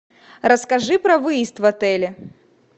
расскажи про выезд в отеле